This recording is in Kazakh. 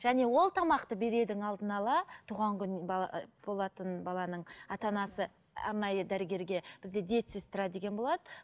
және ол тамақты берердің алдын ала туған күн болатын баланың ата анасы арнайы дәрігерге бізде диетсестра деген болады